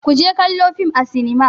Ku je kallo fim a sinima.